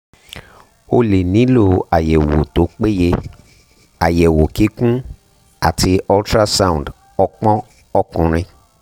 o lè nílò àyẹ̀wò tó péye àyẹ̀wò kíkún àti ultrasound ọpọn ọkùnrin